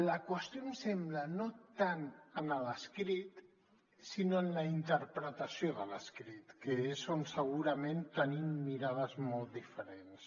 la qüestió em sembla no tant en l’escrit sinó en la interpretació de l’escrit que és on segurament tenim mirades molt diferents